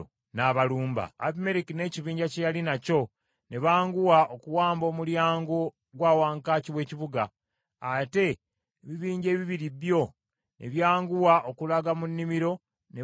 Abimereki n’ekibinja kye yali nakyo ne banguwa okuwamba omulyango gwa wankaaki w’ekibuga, ate ebibinja ebibiri byo ne byanguwa okulaga mu nnimiro ne batta abaaliyo.